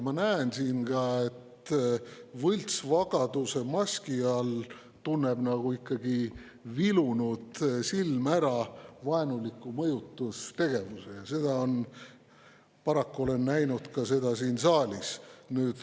Ma näen siin, et võltsvagaduse maski all tunneb vilunud silm ära vaenuliku mõjutustegevuse, ja seda paraku olen ma näinud ka siin saalis.